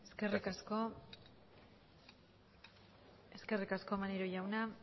eskerrik asko maneiro jauna